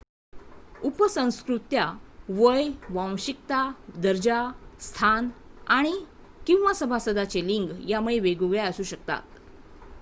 उपसंस्कृत्या वय वांशिकता दर्जा स्थान आणि/किंवा सभासदांचे लिंग यांमुळे वेगवेगळ्या असू शकतात